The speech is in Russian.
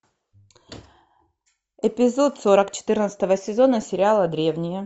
эпизод сорок четырнадцатого сезона сериала древние